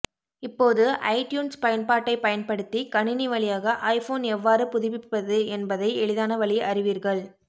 இப்போது ஐடியூன்ஸ் பயன்பாட்டைப் பயன்படுத்தி கணினி வழியாக ஐபோன் எவ்வாறு புதுப்பிப்பது என்பதை எளிதான வழி அறிவீர்கள்